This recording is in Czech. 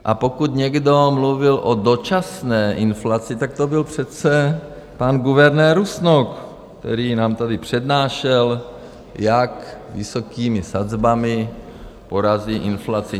A pokud někdo mluvil o dočasné inflaci, tak to byl přece pan guvernér Rusnok, který nám tady přednášel, jak vysokými sazbami porazí inflaci.